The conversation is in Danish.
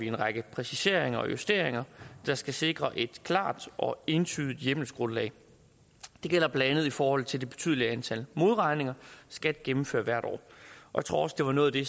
en række præciseringer og justeringer der skal sikre et klart og entydigt hjemmelsgrundlag det gælder blandt andet i forhold til det betydelige antal modregninger skat gennemfører hvert år jeg tror også det var noget af det